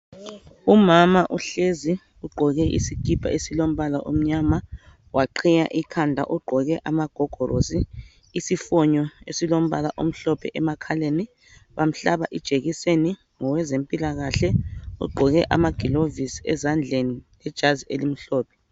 Umama uhlezi ugqoke isikipa esilombala omnyama, waqhiya ikhanda. Ugqoke amagogorosi. Isifonyo esilombala omhlophe emakhaleni. Bamhlaba ijekiseni ngowezempilakahle ogqoke amagilovisi ezandleni lejazi elimhlophe.